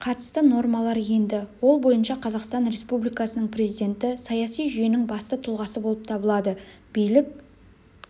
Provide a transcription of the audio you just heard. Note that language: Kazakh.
қатысты нормалар енді ол бойынша қазақстан республикасының президенті саяси жүйенің басты тұлғасы болып табылады билік